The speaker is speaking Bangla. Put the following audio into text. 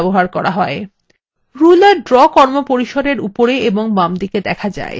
ruler draw কর্মপরিসরএর উপরে এবং বামদিকে দেখা যায়